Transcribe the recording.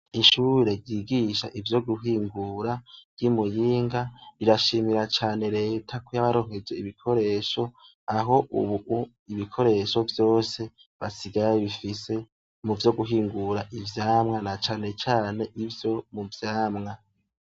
Ishure ryigisha ivyo guhingura ryi Muyinga rirashimira cyane reta ku yabaronkeje ibikoresho aho ubu ibikoresho vyose basigaye bifise mu vyo guhingura ivyamwa na cane ivyo mu vyamwa .